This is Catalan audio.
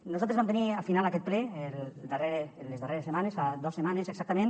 nosaltres vam tenir al final aquest ple en les darreres setmanes fa dos setmanes exactament